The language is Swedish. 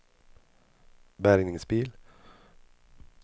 bärgningsbil